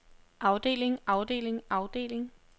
afdeling afdeling afdeling